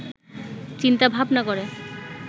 চিন্তা ভাবনা করে